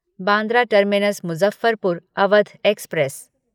Bandra terminus Muzaffarpur Awadh express